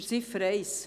Zu Ziffer 1: